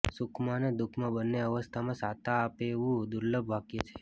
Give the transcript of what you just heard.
સુખમાં અને દુઃખમાં બંને અવસ્થામાં શાતા આપે તેવું દુર્લભ વાક્ય છે